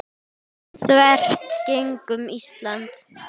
þvert gegnum Ísland.